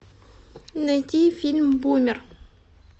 найти фильм бумер